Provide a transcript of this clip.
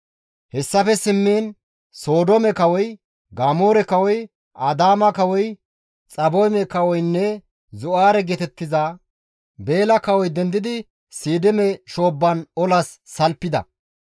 Hessafe simmiin, Sodoome kawoy, Gamoora kawoy, Adaama kawoy, Xaboyme kawoynne (Zo7aare geetettiza) Beela kawoy dendidi Siidime shoobban olas salfida.